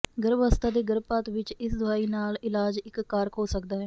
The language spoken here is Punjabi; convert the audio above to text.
ਗਰਭ ਅਵਸਥਾ ਦੇ ਗਰਭਪਾਤ ਵਿੱਚ ਇਸ ਦਵਾਈ ਨਾਲ ਇਲਾਜ ਇੱਕ ਕਾਰਕ ਹੋ ਸਕਦਾ ਹੈ